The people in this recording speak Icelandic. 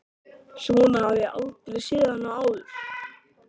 Svona hafði ég aldrei séð hann áður.